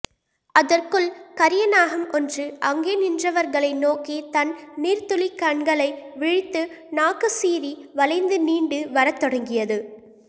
அதற்குள் கரிய நாகம் ஒன்று அங்கே நின்றவர்களை நோக்கி தன் நீர்த்துளிக்கண்களை விழித்து நாக்குசீறி வளைந்து நீண்டு வரத்தொடங்கியது